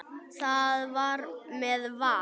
Það var með Val.